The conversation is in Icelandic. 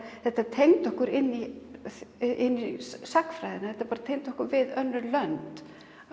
þetta tengdi okkur inn í sagnfræðina þetta tengdi okkur við önnur lönd